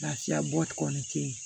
Lafiya bɔ kɔni te ye